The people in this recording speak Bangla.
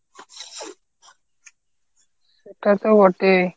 সেটা তো বটেই।